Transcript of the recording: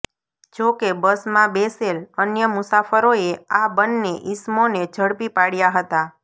જોકે બસમાં બેસેલ અન્ય મુસાફરોએ આ બંને ઇસમોને ઝડપી પાડ્યા હતા